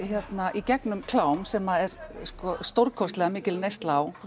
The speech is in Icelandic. í gegnum klám sem að er sko stórkostlega mikil neysla á